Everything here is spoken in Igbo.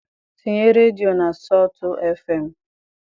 Tinye redio na sọltụ fm